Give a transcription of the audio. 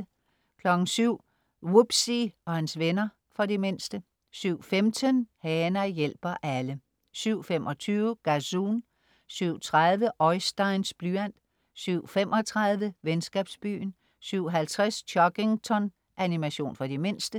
07.00 Wubbzy og hans venner. For de mindste 07.15 Hana hjælper alle 07.25 Gazoon 07.30 Oisteins blyant 07.35 Venskabsbyen 07.50 Chuggington. Animation for de mindste